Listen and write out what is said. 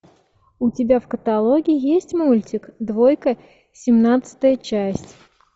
у тебя в каталоге есть мультик двойка семнадцатая часть